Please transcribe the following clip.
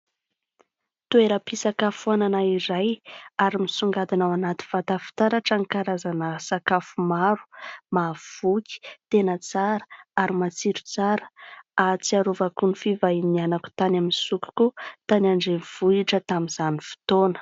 Toeram-pisakafoana iray, ary misongadina ao anaty vata fitaratra ny karazana sakafo maro, mahavoky, tena tsara ary matsiro tsara! Ahasiarovako ny fihivanianako tany amin'ny sokokou tany andrenivohitra tamin'izany fotoana.